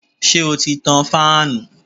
Ṣé o ti tan fáànù?